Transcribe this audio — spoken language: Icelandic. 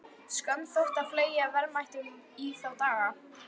Skömm þótti að fleygja verðmætum í þá daga.